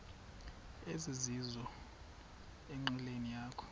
ezizizo enqileni yakho